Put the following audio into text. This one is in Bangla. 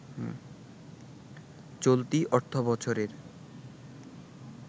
চলতি অর্থবছরের